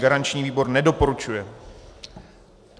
Garanční výbor nedoporučuje.